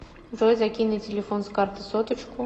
джой закинь на телефон с карты соточку